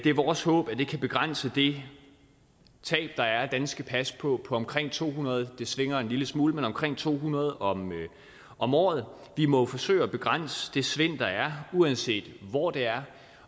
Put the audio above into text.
er vores håb at det kan begrænse det tab der er af danske pas på omkring to hundrede svinger en lille smule men omkring to hundrede om om året vi må forsøge at begrænse det svind der er uanset hvor det er